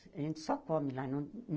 A gente só come lá e não.